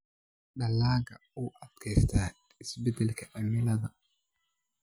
Dalagga u adkaysta isbeddelka cimilada.